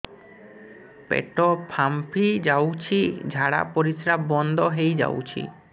ପେଟ ଫାମ୍ପି ଯାଉଛି ଝାଡା ପରିଶ୍ରା ବନ୍ଦ ହେଇ ଯାଉଛି